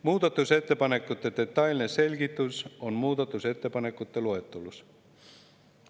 Muudatusettepanekute detailne selgitus on muudatusettepanekute loetelus.